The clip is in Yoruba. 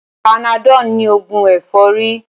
Panadol ní ògùn ẹ̀fọ́rí